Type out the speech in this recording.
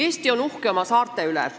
Eesti on uhke oma saarte üle.